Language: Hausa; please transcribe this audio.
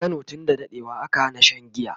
a Kano tun da daɗewa aka Hana Shan giya